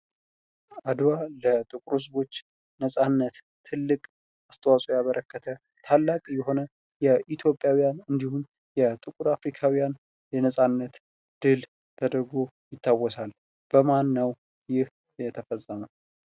አደዋ ለጥቁር ህዝቦች ነፃነት ትልቅ አስተዋፅዖ ያበረከተ ታላቅ የሆነ የኢትዮጵያዉያን እንዲሁም የጥቁር አፍሪካዉያን የነፃነት ድል ተደርጎ ይታወሳል። በማን ነዉ ይህ የተፈፀመዉ?